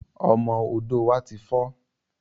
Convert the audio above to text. Ọmọ odò wá ti fọ̀